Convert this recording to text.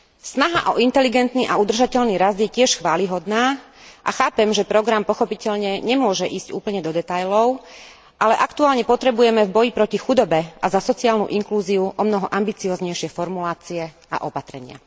Snaha o inteligentný a udržateľný rast je tiež chvályhodná a chápem, že program pochopiteľne nemôže ísť úplne do detailov, ale aktuálne potrebujeme v boji proti chudobe a za sociálnu inklúziu omnoho ambicióznejšie formulácie a opatrenia.